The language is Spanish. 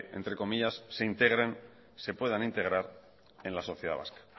entre comillas se puedan integrar en la sociedad vasca